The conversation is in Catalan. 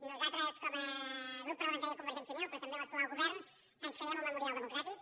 nosaltres com a grup parlamentari de convergència i unió però també l’actual govern ens creiem el memorial democràtic